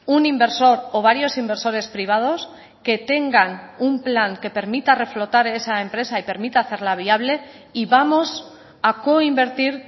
un inversor o varios inversores privados que tengan un plan que permita reflotar esa empresa y permita hacerla viable y vamos a coinvertir